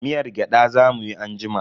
Miyar gyada za mu yi anjima.